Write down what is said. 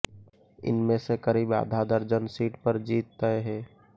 इनमें से करीब आधा दर्जन सीट पर जीत तय है